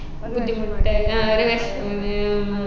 ബുദ്ധിമുട്ടായി ആ ഒരു വിഷമന്നെ ആഹ്